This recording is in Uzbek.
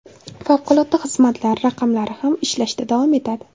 Favqulodda xizmatlar raqamlari ham ishlashda davom etadi.